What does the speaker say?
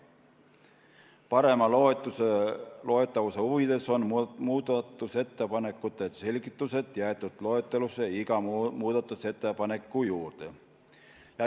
Parema loetavuse huvides on muudatusettepanekute selgitused jäetud loetelusse iga muudatusettepaneku juurde.